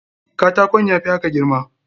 Katakon ya fi haka girma.